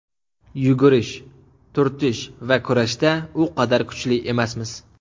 Yugurish, turtish va kurashda u qadar kuchli emasmiz.